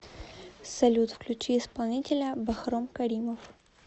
салют включи исполнителя бахром каримов